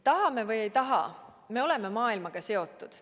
Tahame või ei taha, me oleme maailmaga seotud.